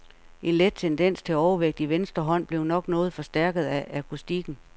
En let tendens til overvægt i venstre hånd blev nok noget forstærket af akustikken.